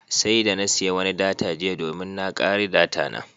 Sai da na siya wani data jiya domin na kare data na.